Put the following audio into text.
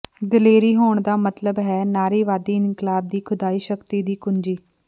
ਦਲੇਰੀ ਹੋਣ ਦਾ ਮਤਲਬ ਹੈ ਨਾਰੀਵਾਦੀ ਇਨਕਲਾਬ ਦੀ ਖੁਦਾਈ ਸ਼ਕਤੀ ਦੀ ਕੁੰਜੀ